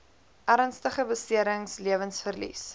ernstige beserings lewensverlies